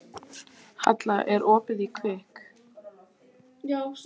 Halla, er opið í Kvikk?